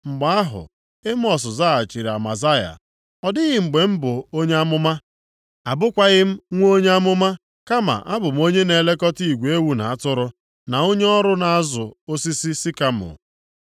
Mgbe ahụ, Emọs zaghachiri Amazaya, “Ọ dịghị mgbe m bụ onye amụma, abụkwaghị m nwa onye amụma, kama abụ m onye na-elekọta igwe ewu na atụrụ, na onye ọrụ na-azụ osisi sikamọ.